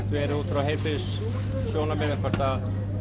út frá heilbrigðissjónarmiðum hvort